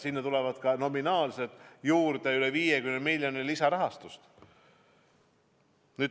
Sinna tuleb ka nominaalselt juurde üle 50 miljoni euro lisarahastust.